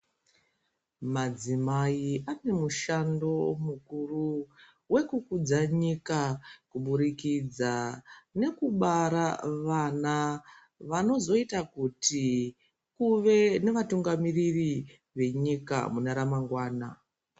Madzimai anomushando mukuru wekukudza nyika kuburikidza nekubara vana vanozoita kuti kuve nevatungamiriri venyika mune ramangwana .